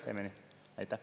Teeme nii!